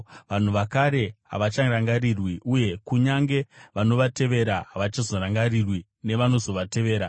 Vanhu vakare havacharangarirwi; uye kunyange vanovatevera, havachazorangarirwi nevanozotevera.